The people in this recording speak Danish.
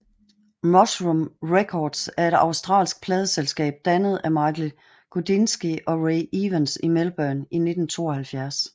Mushroom Records er et australsk pladeselskab dannet af Michael Gudinski og Ray Evans i Melbourne i 1972